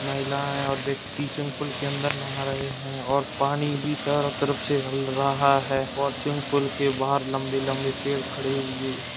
महिलायें और व्यक्ति स्विमिंग पूल के अंदर नहा रहे हैं और पानी भी चारों तरफ से हल रहा है और स्विमिंग पूल के बाहर लम्बे लम्बे पेड़ खड़े हुए --